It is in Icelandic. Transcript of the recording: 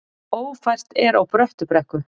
Ófært er á Bröttubrekku